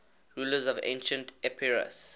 rulers of ancient epirus